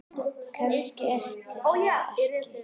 Kannski ertu það og kannski ekki.